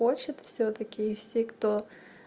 хочет всё-таки и все кто